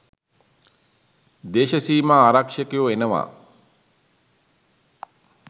දේශසීමා ආරක්ෂකයෝ එනවා.